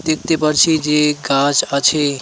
দেখতে পারছি যে গাছ আছে.